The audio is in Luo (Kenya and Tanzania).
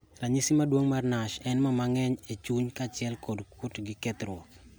Ranyisi maduong' mar NASH en mo mang'eny e chuny kachiel gi kuot gi kethruok